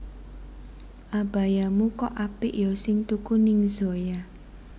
Abayamu kok apik yo sing tuku ning Zoya